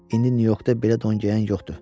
indi Nyu-Yorkda belə don geyən yoxdur.